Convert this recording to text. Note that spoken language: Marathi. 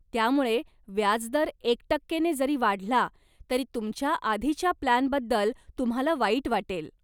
त्यामुळे, व्याजदर एक टक्के ने जरी वाढला, तरी तुमच्या आधीच्या प्लानबद्दल तुम्हाला वाईट वाटेल.